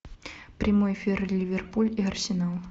прямой эфир ливерпуль и арсенал